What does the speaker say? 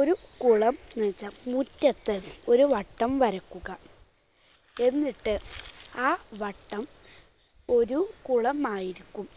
ഒരു കുളം വീതം മുറ്റത്ത് ഒരു വട്ടം വരയ്ക്കുക. എന്നിട്ട് ആ വട്ടം ഒരു കുളമായിരിക്കും.